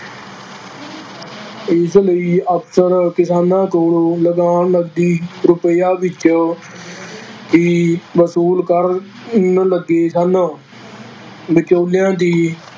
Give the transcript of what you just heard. ਇਸ ਲਈ ਅਫ਼ਸਰ ਕਿਸਾਨਾਂ ਕੋਲੋਂ ਲਗਾਨ ਨਕਦੀ ਰੁਪਇਆਂ ਵਿੱਚ ਹੀ ਵਸੂਲ ਕਰਨ ਲੱਗੇ ਸਨ ਵਿਚੋਲਿਆਂ ਦੀ